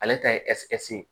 Ale ta ye ye